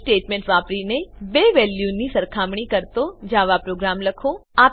if statement વાપરીને બે વેલ્યુઓની સરખામણી કરતો જાવા પ્રોગ્રામ લખો